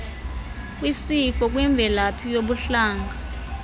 kwisifo kwimvelaphi yobuhlanga